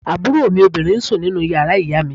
Àbúrò mi obìnrin ń sùn nínú yàrá ìyá mi